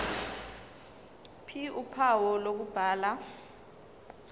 ph uphawu lokubhala